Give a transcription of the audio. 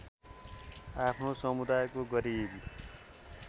आफ्नो समुदायको गरिब